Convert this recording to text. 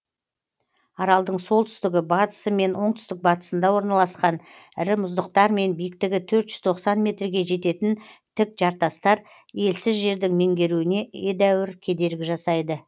аралдың солтүстігі батысы мен оңтүстік батысында орналасқан ірі мұздықтар мен биіктігі төрт жүз тоқсан метрге жететін тік жартастар елсіз жердің меңгеруіне едәуір кедергі жасайды